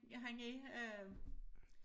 Han er øh